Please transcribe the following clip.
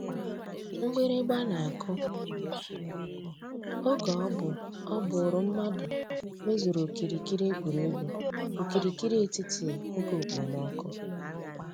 Mgbìrị̀gba nà-àkụ̀ ògè ọ̀ bú ọ́ bụ̀rù mmàdụ̀ mèzùrù òkìrìkìrì ègwè́ré́gwụ̀ òkìrìkìrì ètítì ògè òkpòmọ́kụ̀.